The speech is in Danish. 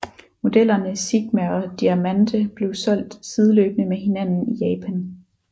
Modellerne Sigma og Diamante blev solgt sideløbende med hinanden i Japan